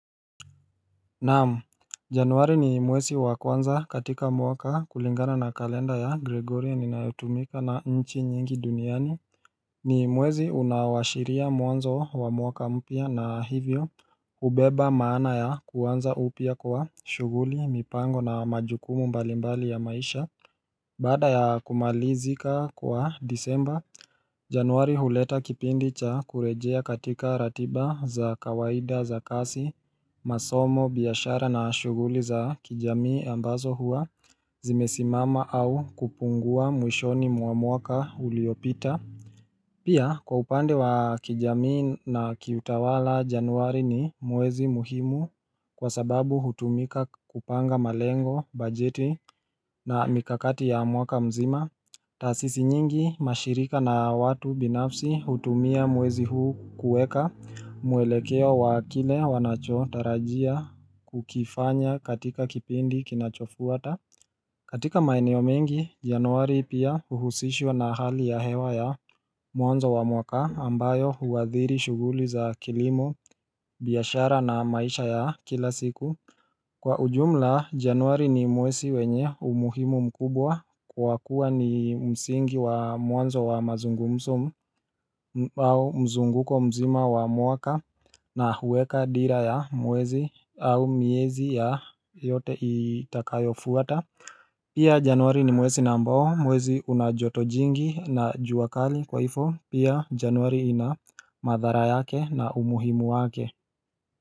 Naam, januari ni mwezi wa kwanza katika mwaka kulingana na kalenda ya Gregorian inayotumika na nchi nyingi duniani ni mwezi unaowashiria mwanzo wa mwaka mpya na hivyo ubeba maana ya kuanza upya kwa shuguli, mipango na majukumu mbalimbali ya maisha Baada ya kumalizika kwa disemba, januari huleta kipindi cha kurejea katika ratiba za kawaida za kasi, masomo, biashara na shuguli za kijamii ambazo huwa zimesimama au kupungua mwishoni mwa mwaka uliopita. Pia kwa upande wa kijamii na kiutawala januari ni mwezi muhimu kwa sababu hutumika kupanga malengo, bajeti na mikakati ya mwaka mzima taasisi nyingi mashirika na watu binafsi hutumia mwezi huu kueka mwelekeo wa kile wanacho tarajia kukifanya katika kipindi kinachofuata katika maeneo mengi, januari pia uhusishwa na hali ya hewa ya mwanzo wa mwaka ambayo huadhiri shuguli za kilimo, biashara na maisha ya kila siku Kwa ujumla, januari ni mwesi wenye umuhimu mkubwa kwa kuwa ni msingi wa mwanzo wa mazungumso au mzunguko mzima wa mwaka na huweka dira ya mwezi au miezi ya yote itakayofuata Pia januari ni mwezi na ambao mwezi unajoto jingi na jua kali kwaifo pia januari ina madhara yake na umuhimu wake.